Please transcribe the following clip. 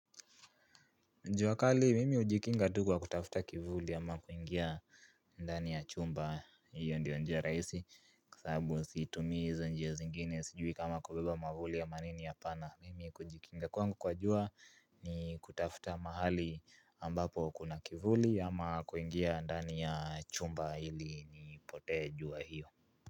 Jua kali, mimi hujikinga tu kwa kutafuta kivuli ama kuingia ndani ya chumba, hiyo ndiyo njia rahisi Kwa sababu situmii hizo njia zingine, sijui kama kubeba mwavuli ama nini ha pana Mimi kujikinga kwangu kwa jua ni kutafuta mahali ambapo kuna kivuli ama kuingia ndani ya chumba ili nipotee jua hiyo.